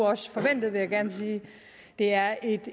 også forventet vil jeg gerne sige det er et